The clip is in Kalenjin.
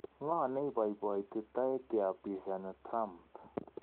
Ngo neipopoiti taek kiapishani Trump?